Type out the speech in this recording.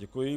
Děkuji.